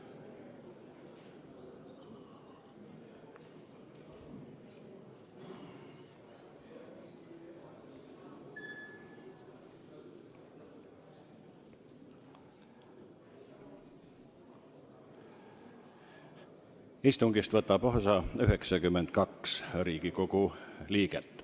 Kohaloleku kontroll Istungist võtab osa 92 Riigikogu liiget.